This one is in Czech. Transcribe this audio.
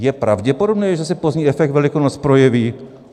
Je pravděpodobné, že se pozdní efekt Velikonoc projeví?